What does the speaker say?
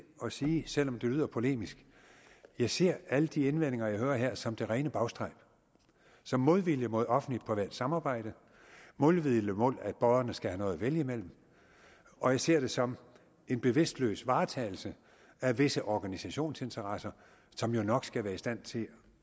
at sige selv om det lyder polemisk jeg ser alle de indvendinger jeg hører her som det rene bagstræb som modvilje mod offentlig privat samarbejde modvilje mod at borgerne skal have noget at vælge mellem og jeg ser det som en bevidstløs varetagelse af visse organisationsinteresser som jo nok skal være i stand til